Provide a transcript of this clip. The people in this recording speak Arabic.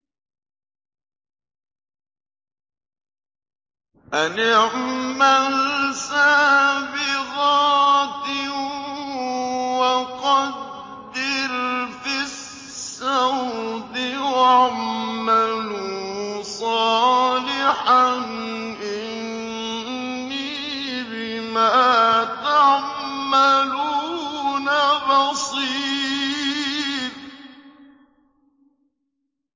أَنِ اعْمَلْ سَابِغَاتٍ وَقَدِّرْ فِي السَّرْدِ ۖ وَاعْمَلُوا صَالِحًا ۖ إِنِّي بِمَا تَعْمَلُونَ بَصِيرٌ